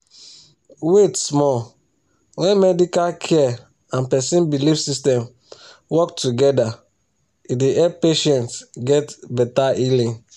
wait small when medical care and person belief system work together e dey help patients get better healing